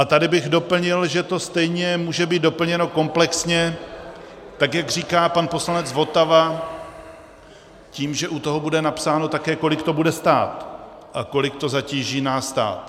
A tady bych doplnil, že to stejně může být doplněno komplexně, tak jak říká pan poslanec Votava, tím, že u toho bude napsáno také, kolik to bude stát a kolik to zatíží náš stát.